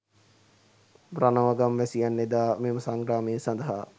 රණව ගම්වැසියන් එදා මෙම සංග්‍රාමය සඳහා